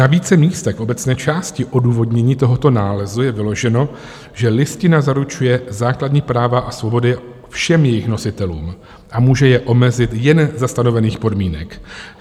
Na více místech obecné části odůvodnění tohoto nálezu je vyloženo, že Listina zaručuje základní práva a svobody všem jejich nositelům a může je omezit jen za stanovených podmínek.